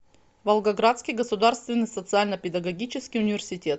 волгоградский государственный социально педагогический университет